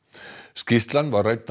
skýrslan var rædd á